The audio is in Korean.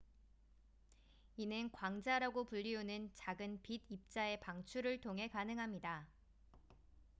이는 "광자""라고 불리우는 작은 빛 입자의 방출을 통해 가능합니다.